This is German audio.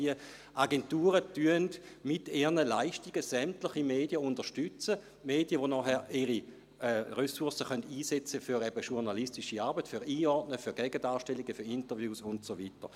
Diese Agenturen unterstützten also mit ihren Leistungen sämtliche Medien – Medien, die ihre Ressourcen dann für journalistische Arbeit einsetzen können, für das Einordnen, für Gegendarstellungen, für Interviews und so weiter.